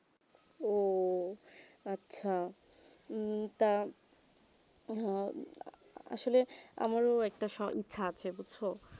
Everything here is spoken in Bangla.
ওহ আচ্ছা তা আসলে আমারও একটা সো ইচ্ছা থাকছে বুঝছো